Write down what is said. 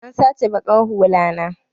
An sata baƙar hulla na.